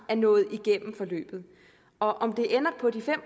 er nået igennem forløbet og om det ender på de fem